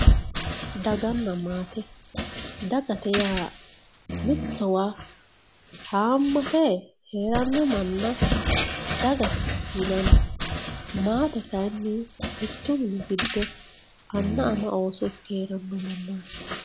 Daganna maate, dagate yaa mittowa hamate heerano manna dagate yinanni maate kayinni mitu mini giddo anna ama ooso ikke heerano mannati.